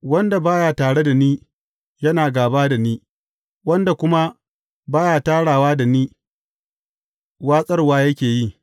Wanda ba ya tare da ni, yana gāba da ni, wanda kuma ba ya tarawa da ni, watsarwa yake yi.